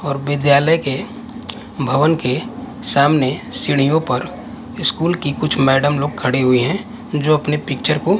और विद्यालय के भवन के सामने सीढ़ीयों पर स्कूल की कुछ मैडम लोग खड़ी हुई है जो अपने पिक्चर को--